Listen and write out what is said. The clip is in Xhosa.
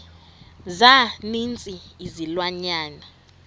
za ninzi izilwanyana